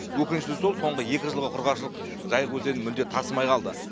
өкініштісі сол соңғы екі жылғы құрғақшылық жайық өзені мүлде тасымай қалды